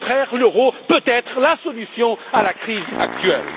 Au contraire, l'euro peut être la solution à la crise actuelle.